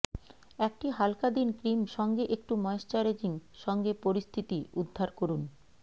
একটি হালকা দিন ক্রিম সঙ্গে একটু ময়শ্চারাইজিং সঙ্গে পরিস্থিতি উদ্ধার করুন